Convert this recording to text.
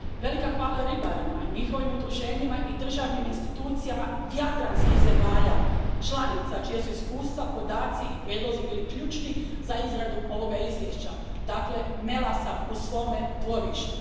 Velika hvala i ribarima, njihovim udruženjima i državnim institucijama jadranskih zemalja članica čija su iskustva, podaci i prijedlozi bili ključni za izradu ovoga izvješća. Dakle, mela sam u svome dvorištu.